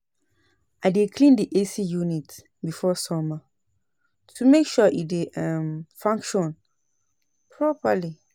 I dey clean the AC unit before summer to make sure e dey um function properly.